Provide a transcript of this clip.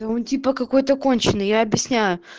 да он типа какой-то конченный я объясняю